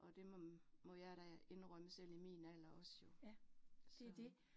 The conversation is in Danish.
Og det må, må jeg da indrømme selv i min alder også jo, så